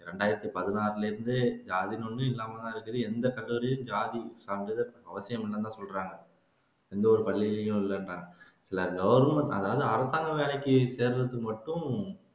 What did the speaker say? இரண்டாயிரத்து பதினாறிலிரிருந்து ஜாதின்னு ஒன்னு இல்லாமதான் இருக்குது எந்த கல்லூரிலயும் ஜாதி சான்றிதழ் அவசியம் இல்லைன்னுதான் சொல்றாங்க எந்த ஒரு பள்ளியிலயும் இல்லன்றாங்க இல்ல கவர்ன்மெண்ட் அதாவது அரசாங்க வேலைக்கு சேர்றதுக்கு மட்டும்